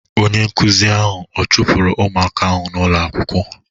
Onye nkụzi ahụ a chụpụrụ ụmụaka ahụ n'ulo akwụkwọ?